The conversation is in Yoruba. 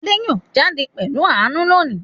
Adé yóò jáde pẹ̀lú Àánú lónìí